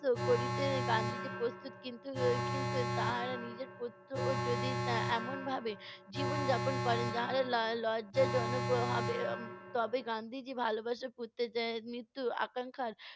করিতে গান্ধিজী প্রস্তুত। কিন্তু, উম কিন্তু তাহারা নিজের ও যদি এর এমনভাবে জীবনযাপন করেন যাহা ল~ লজ্জাজনক হবে। এর তবে গান্ধিজী ভালোবাসা আকাংখার